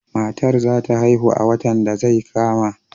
Matar za ta haihu a watan da zai kama.